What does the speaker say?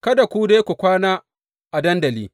Kada ku dai kwana a dandali.